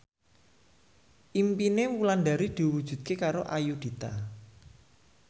impine Wulandari diwujudke karo Ayudhita